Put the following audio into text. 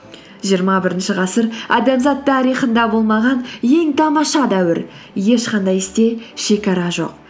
жиырма бірінші ғасыр адамзат тарихында болмаған ең тамаша дәуір ешқандай істе шегара жоқ